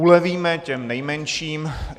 Ulevíme těm nejmenším.